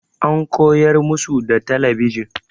An koyar musu da talabijin.